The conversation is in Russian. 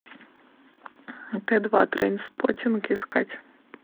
т два трейнспоттинг искать